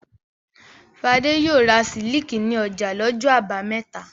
Fadé yóò ra sílíkì ní ọjà lọ́jọ́ àbámẹ́ta.